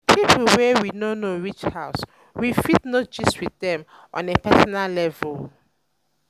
with pipo wey we no know reach house we fit no fit gist with dem on a personal level